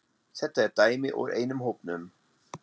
Þetta er dæmi úr einum hópnum